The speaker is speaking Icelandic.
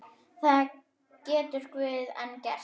Það getur Guð einn gert.